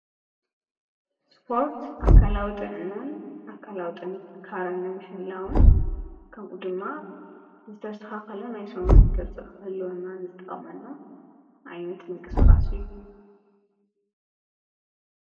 ስፖርት ኣካላዊ ጥዕናን ኣካላዊ ጥንካረን ምሕላውን ከምኡ ድማ ዝተስተካከለ ናይ ሰውነት ቅርፂ ክህልወና ዝጠቅመና ዓይነት ምንቅስቃስ እዩ።